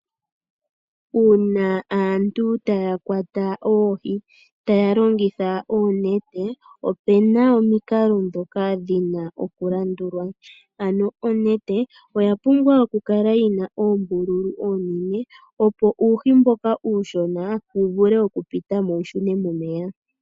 Uuna aantu taya kwata oohi taya longitha oonete ope na omikalo ndhoka dhina okulandulwa ano, onete oya pumbwa okukala yina oombululu oonene opo uuhi mboka uushona wuvule okupitamo wushune momeya.